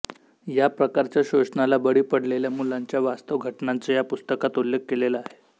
या प्रकारच्या शोषणाला बळी पडलेल्या मुलांच्या वास्तव घटनांचा या पुस्तकात उल्लेख केलेला अहे